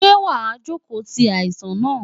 Ṣé wàá jókòó ti aláìsàn náà?